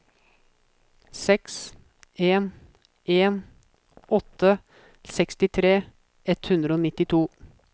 seks en en åtte sekstitre ett hundre og nittito